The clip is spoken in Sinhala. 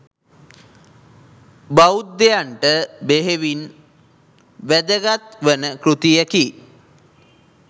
බෞද්ධයන්ට බෙහෙවින් වැදගත්වන කෘතියකි.